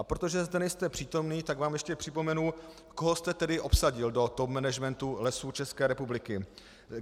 A protože zde nejste přítomný, tak vám ještě připomenu, koho jste tedy obsadil do top managementu Lesů České republiky.